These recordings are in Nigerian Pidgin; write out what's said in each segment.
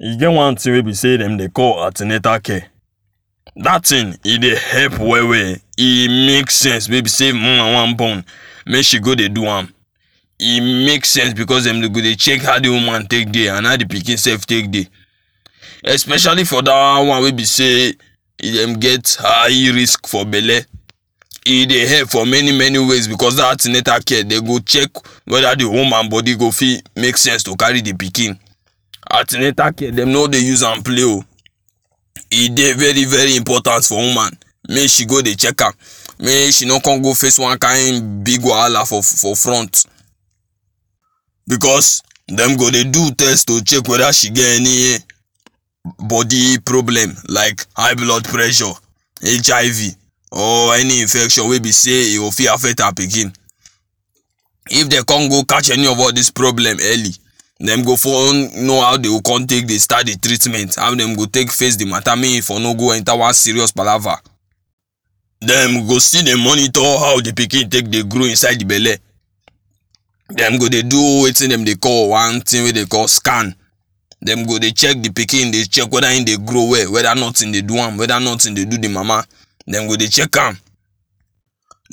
E get one thing wey be sey dem dey call an ten atal care. That thing e dey help well well. E make sense wey be sey woman wan born make she go dey do am. E make sense because, dem dey go dey check how the woman take dey and how the pikin sef take dey. Especially for that one woman wey be sey dem get high risk for belle. E dey help for many many ways because that an ten atal care dey go check whether the woman body go fit make sense to carry the pikin. An ten atal care dem no dey use am play oo. E dey very very important for woman. Make she go dey check am. Make she no come go face one kind big wahala for for front. Because dem go dey do test to check whether she get any body problem like high blood pressure, HIV or any infection wey be sey e o fit affect her pikin. If dey come go catch any of all these problem early, dem go for know how dey come take dey start the treatment. How dem go take face the matter make e for no go enter one serious palava. Dem go still dey monitor how the pikin take dey grow inside the belle. Dem go dey do wetin dem dey call one thing wey dey call scan. Dem go dey check the pikin dey check whether im dey grow well, whether nothing dey do am, whether nothing dey do the mama. Dem go dey check am.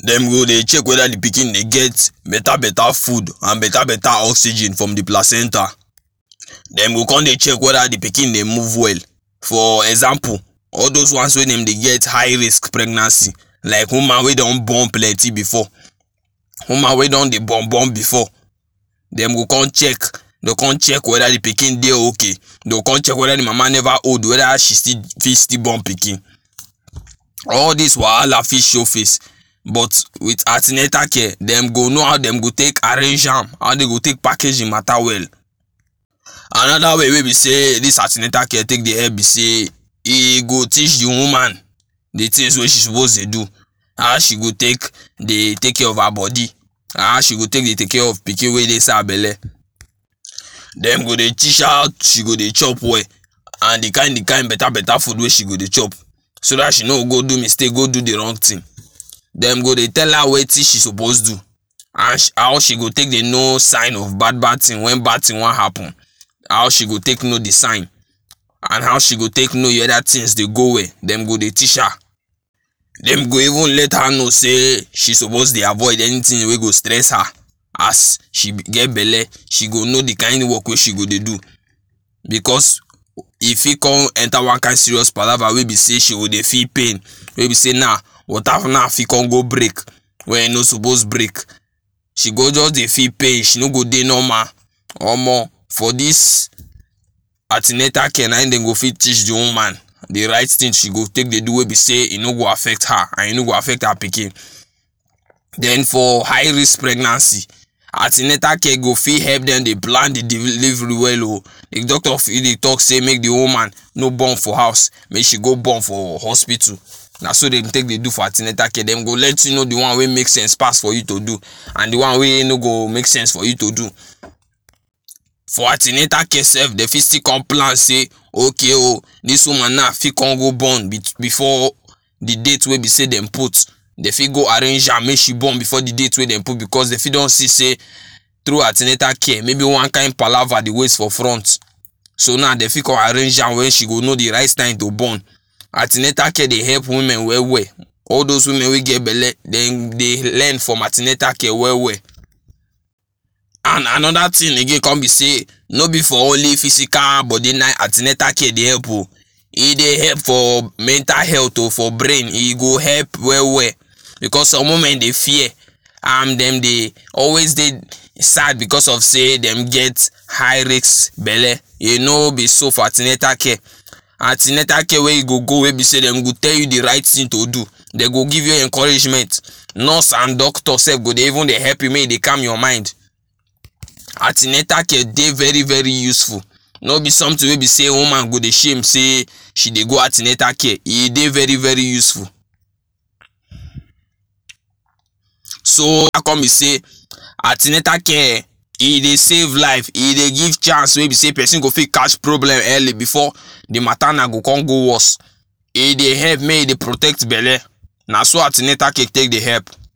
Dem go dey check whether the pikin dey get better better food and better better oxygen from the placenta. Dem go con dey check whether the pikin dey move well. for example, all those ones wey dem dey get high risk pregnancy, like woman wey dey don born plenty before, woman wey don dey born born before. Dem go con check, they con check whether the pikin dey okay. They con check whether the mama never old whether she still fit born pikin. All these wahala fit show face. But with an ten atal care dem go know how dem go take arrange am, how dey go take package the matter well. Another way wey be sey this an ten atal care take dey help be sey e go teach the woman the things wey she pose dey do, how she go take dey take care of her body, how she go take dey take care of pikin wey dey inside her belle. Dem go dey teach how she go dey chop well and the kind the kind better food wey she go dey chop, so that she no go do mistake go do the wrong thing. Dem go dey tell her wetin she suppose do and how she go take dey know sign of bad bad thing when bad thing wan happen, how she go take know the sign and how she go take know whether things dey go well dem go dey teach her. Dem go even let her know sey she suppose dey avoid anything wey go stress her. As she get belle she go know the kind work wey she go dey do because e fit come enter one kind serious palava wey be sey she go dey feel pain, wey be sey na water now fit come go break when e no suppose break. She go just dey feel pain. She no go dey normal. Omo for this an ten atal care na him dey go fit teach the woman the right thing she go take dey do wey be sey e no go affect her and e no go affect her pikin. Then for high risk pregnancy an ten atal care go fit help them dey plan the deli very well o. If doctor fit dey talk sey make the woman no born for house. Make she go born for hospital. Na so dey take dey do for an ten atal care. Dem go let you know the one wey make sense pass for you to do and the one wey in no go make sense for you to do. For an ten atal care sef dey fit still come plan sey okay oo, this woman now fit come go born before the date wey be sey dem put. Dey fit go arrange am make she born before the date wey dem put because dey fit don still sey through an ten atal care maybe one kind palava dey wait for front. So now dey fit con arrange am when she go know the right time to born. An ten atal care dey help women well well. All those women wey get belle dem dey learn from an ten atal care well well. And another thing again come be sey, no be for only physical body nah in an ten atal care dey help o, e dey help for mental health o. for brain e go help well well. Because some women dey fear and dem dey always dey sad because of sey dem get high risks belle. E no be so for an ten atal care. An ten atal care wey e go go wey be sey dem go tell you the right thing to do. Dey go give you encouragement. Nurse and doctor sef go dey even dey help you make u dey calm your mind. An ten atal care dey very very useful. No be something wey dey sey woman go dey shame sey she dey go an ten atal care. E dey very very useful. soo I come dey sey an ten atal care e dey save life, e dey give chance wey be sey person go fit catch problem early before the matter now go come go worse. E dey help make e dey protect belle. Na so an ten atal care take dey help.